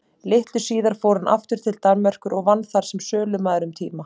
Litlu síðar fór hann aftur til Danmerkur og vann þar sem sölumaður um tíma.